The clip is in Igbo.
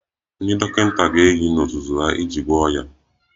Ndị dọkịta ga-eyi n'ozuzu ha iji gwọọ ọrịa